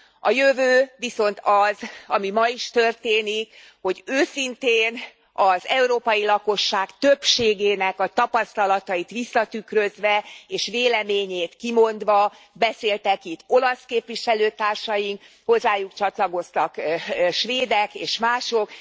A jövő viszont az, ami ma is történik, hogy őszintén, az európai lakosság többségének a tapasztalatait visszatükrözve és véleményét kimondva beszéltek itt olasz képviselőtársaink, hozzájuk csatlakoztak svédek és mások.